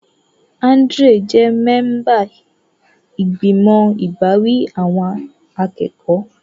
Andrew jẹ́ mẹ́ńbà ìgbìmọ̀ ìbáwí awọn akẹ́kọ̀ọ́.